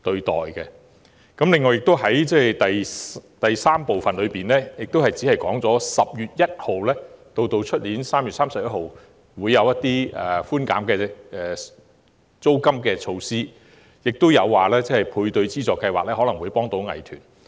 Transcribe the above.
此外，局長在主體答覆第三部分提到，由今年10月1日至明年3月31日推行租金寬減措施，以及透過本年度配對資助計劃幫助藝團。